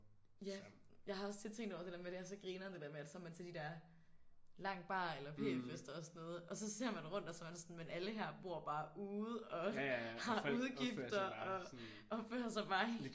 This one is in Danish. Ja jeg har også tit tænkt over det der med at det er så grineren det der med at så er man med til de der lang bar eller p-fester og sådan noget og så ser man rundt og så er man sådan men alle her bor bare ude og har udgifter og opfører sig bare helt